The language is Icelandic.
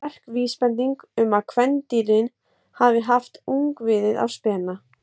Þetta er sterk vísbending um að kvendýrin hafi haft ungviðið á spena.